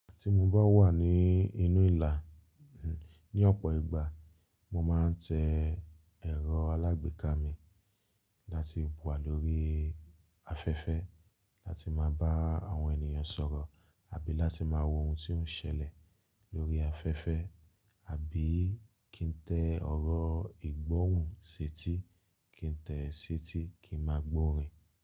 Tí mo bá wà ní inú ìlà, ní ọ̀pọ̀ ìgbà mo máa ń tẹ ẹ̀rọ alágbèéká mi láti wà lórí afẹ́fẹ́ láti máa bá àwọn ènìyàn sọ̀rọ̀ àbí láti máa wo ohun tí ó ń ṣẹlẹ̀ lórí afẹ́fẹ́ àbí kí n tẹ ọ̀rọ̀ ìgbóhùn si etí kí n tẹ̀ ẹ́ sí etí ki máa gbọ́ rìn.